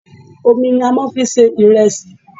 Omi ni a máa ń fi ń se ìrẹsì.